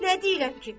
Nə deyirəm ki?